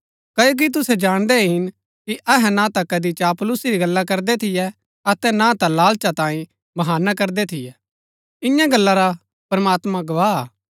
क्ओकि तुसै जाणदै हिन कि अहै ना ता कदी चापलूसी री गल्ला करदै थियै अतै ना ता लाळचा तांई बहाना करदै थियै इन्या गल्ला रा प्रमात्मां गवाह हा